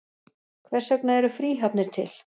Hvers vegna eru fríhafnir til?